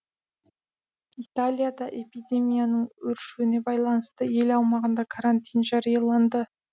италияда эпидемияның өршуіне байланысты ел аумағында карантин жарияланды